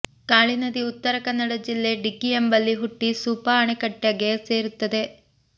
ಕಾಳಿ ನದಿ ಉತ್ತರ ಕನ್ನಡ ಜಿಲ್ಲೆ ಡಿಗ್ಗಿ ಎಂಬಲ್ಲಿ ಹುಟ್ಟಿ ಸೂಪಾ ಅಣೆಕಟ್ಟೆಗೆ ಸೇರುತ್ತದೆ